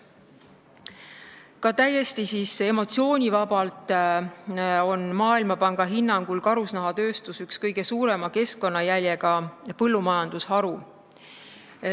Ka täiesti emotsioonivabalt võttes on Maailmapanga hinnangul karusnahatööstus üks kõige suurema keskkonnajäljega põllumajandusharusid.